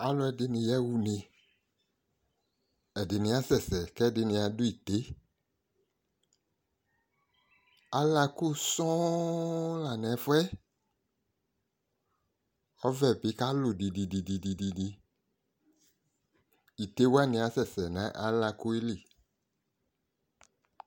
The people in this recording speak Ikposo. Aaluɛɖini yawʋne' ɛɖini asɛse k'ɛɖini aɖʋ ite'Alako soŋ la n'ɛfuɛƆvɛbi kalu didididiIte'wani asɛsɛ nʋ alakoɛli